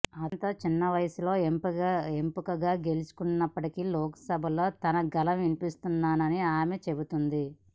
అత్యంత పిన్నవయసులో ఎంపీగా గెలిచినప్పటికీ లోక్సభలో తన గళం వినిపిస్తానని ఆమె చెబుతోంది